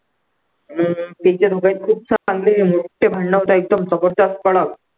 हम्म त्यांचे दोघांचे खूप भांडण होतात एकदम जबरदस्त कडक